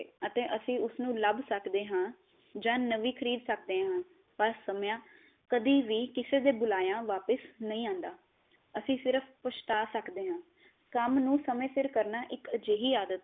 ਅਤੇ ਅਸੀਂ ਉਸਨੂੰ ਲਭ ਸਕਦੇ ਹਾਂ ਜਾਂ ਨਵੀ ਖਰੀਦ ਸਕਦੇ ਹਾਂ ਪਰ ਸਮਾਂ ਕਦੀ ਵੀ ਕਿਸੇ ਦੇ ਬੁਲਾਇਆ ਵਾਪਿਸ ਨਹੀ ਆਉਂਦਾ ਅਸੀਂ ਸਿਰਫ਼ ਪਛਤਾ ਸਕਦੇ ਹਾਂ, ਕੰਮ ਨੂੰ ਸਮੇ ਸਿਰ ਕਰਨਾ ਇਕ ਅਜਿਹੀ ਆਦਤ ਹੈ